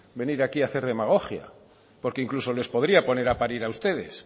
venir aquí a hacer demagogia porque incluso les podría poner a parir a ustedes